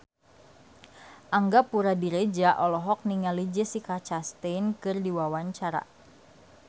Angga Puradiredja olohok ningali Jessica Chastain keur diwawancara